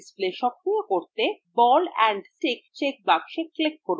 display সক্রিয় করতে ball and stick check box click করুন